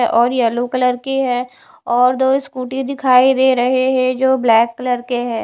और yellow colour की है और दो स्कूटी दिखाई दे रहे हैं जो ब्लैक कलर के हैं।